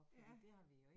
Ja